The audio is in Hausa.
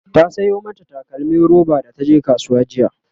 ta Sayo mata takalmim roba da taje kasuwa jiya